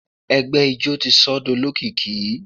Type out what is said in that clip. Ẹgbẹ ijó ti sọ ọ́ di olókìkí.